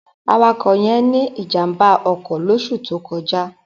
Awakọ̀ yẹn ní ìjàm̀bá ọkọ̀ lóṣù tó kọjá.